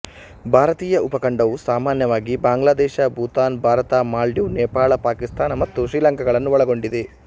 ಭಾರತೀಯ ಉಪಖಂಡವು ಸಾಮಾನ್ಯವಾಗಿ ಬಾಂಗ್ಲಾದೇಶ ಭೂತಾನ್ ಭಾರತ ಮಾಲ್ಡೀವ್ಸ್ ನೇಪಾಳ ಪಾಕಿಸ್ತಾನ ಮತ್ತು ಶ್ರೀಲಂಕಾಗಳನ್ನು ಒಳಗೊಂಡಿದೆ